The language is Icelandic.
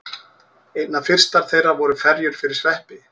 Einna fyrstar þeirra voru ferjur fyrir sveppi.